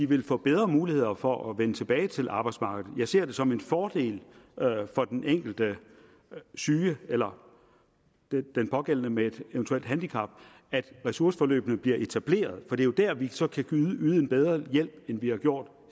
vil få bedre muligheder for at vende tilbage til arbejdsmarkedet jeg ser det som en fordel for den enkelte syge eller den pågældende med et eventuelt handicap at ressourceforløbene bliver etableret for det er jo der vi så kan yde en bedre hjælp end vi har gjort